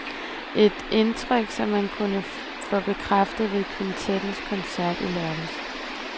Et indtryk, som man kunne få bekræftet ved kvintettens koncert i lørdags.